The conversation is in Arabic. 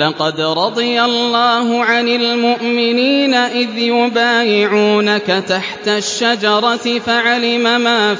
۞ لَّقَدْ رَضِيَ اللَّهُ عَنِ الْمُؤْمِنِينَ إِذْ يُبَايِعُونَكَ تَحْتَ الشَّجَرَةِ فَعَلِمَ مَا